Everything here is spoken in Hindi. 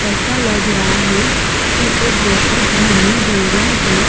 ऐसा लग रहा है वो बहुत घनी जंगल है।